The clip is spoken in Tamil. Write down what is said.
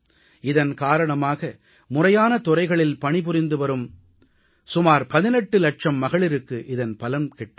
இதன் காரணமாக முறையான துறைகளில் பணிபுரிந்து வரும் சுமார் 18 லட்சம் மகளிருக்கு இதன் பலன் கிட்டும்